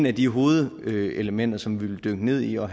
af de hovedelementer som vi vil dykke ned i og